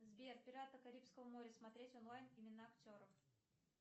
сбер пираты карибского моря смотреть онлайн имена актеров